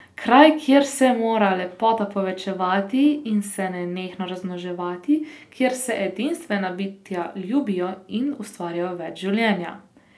Kraj, kjer se mora lepota povečevati in se nenehno razmnoževati, kjer se edinstvena bitja ljubijo in ustvarjajo več življenja.